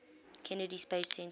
kennedy space center